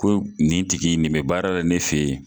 Ko nin tigi nin bɛ baara la ne fɛ ye.